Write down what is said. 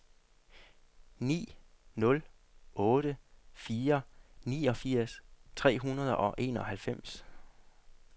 ni nul otte fire niogfirs tre hundrede og enoghalvfems